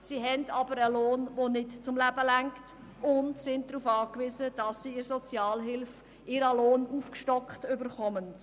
sie haben aber einen Lohn, der nicht zum Leben ausreicht, und sind darauf angewiesen, dass sie in der Sozialhilfe ihren Lohn aufgestockt erhalten.